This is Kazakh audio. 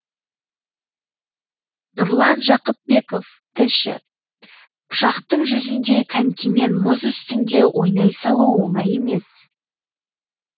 нұрлан жақыпбеков тілші пышақтың жүзіндей конькимен мұз үстінде ойнай салу оңай емес